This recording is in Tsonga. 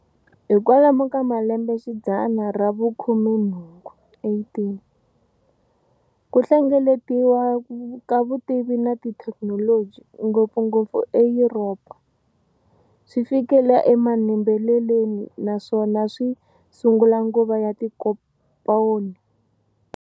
Hikwalomu ka malembexidzana ra vu khumenhungu, 18, kuhlengeletiwa ka vutivi na thekinoloji, ngopfongopfu eYuropa, swifikile e manembeleleni naswona swi sungula nguva ya tinkomponi.